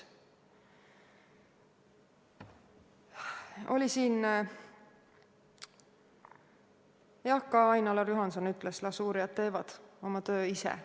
Ka Ain-Alar Juhanson ütles, et las uurijad teevad oma töö ise.